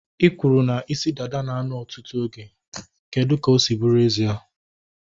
I kwụrụ na isi dada na a nọ ọtụtụ oge. Kedụ ka ọ si bụrụ ezie?